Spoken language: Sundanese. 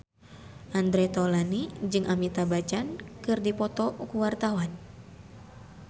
Andre Taulany jeung Amitabh Bachchan keur dipoto ku wartawan